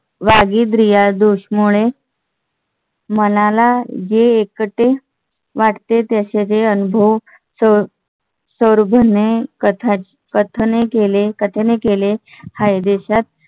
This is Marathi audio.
मनाला जे एकते वाटते ते त्याचे अनुभव कथन केले आहे. देशात